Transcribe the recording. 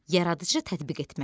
Yaradıcı tətbiq etmə.